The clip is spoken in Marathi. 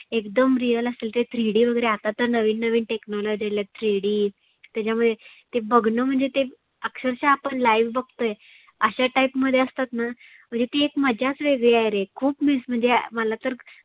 एकदम real असल ते three D वगैरे. आता तर नविन नविन technology आल्यात three D त्याच्यामध्ये ते बघनं म्हणजे ते अक्षरषः आपण live बघतोय. आशा type मध्ये असतातना. म्हणजे ती एक मज्जाच वेगळी आहे रे. खुप miss मला तर